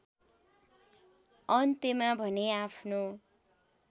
अन्त्यमा भने आफ्नो